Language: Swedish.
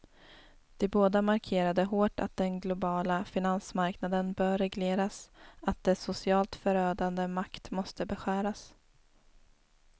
De båda markerade hårt att den globala finansmarknaden bör regleras, att dess socialt förödande makt måste beskäras.